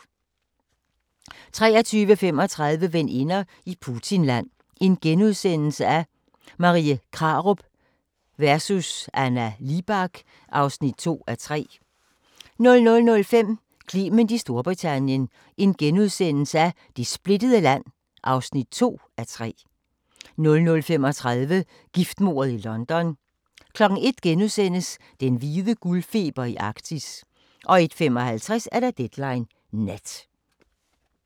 23:35: Veninder i Putinland – Marie Krarup vs. Anna Libak (2:3)* 00:05: Clement i Storbritannien - det splittede land (2:3)* 00:35: Giftmordet i London 01:00: Den hvide guldfeber i Arktis * 01:55: Deadline Nat